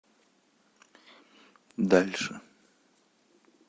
дальше